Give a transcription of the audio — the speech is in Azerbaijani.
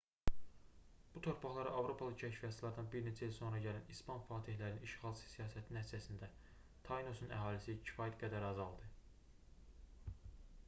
bu torpaqlara avropalı kəşfiyyatçılardan bir neçə il sonra gələn i̇span fatehlərinin işğalçı siyasəti nəticəsində tainosun əhalisi kifayət qədər azaldı